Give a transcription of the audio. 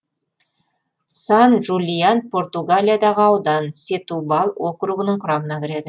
сан жулиан португалиядағы аудан сетубал округінің құрамына кіреді